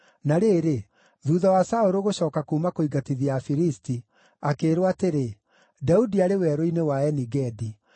Na rĩrĩ, thuutha wa Saũlũ gũcooka kuuma kũingatithia Afilisti, akĩĩrwo atĩrĩ, “Daudi arĩ Werũ-inĩ wa Eni-Gedi.”